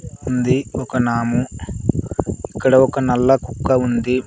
ఉంది ఒక నాము ఇక్కడ ఒక నల్ల కుక్క ఉంది.